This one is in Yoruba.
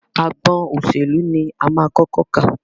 Agbọn òṣèlú ní a máa kọ́kọ́ kà.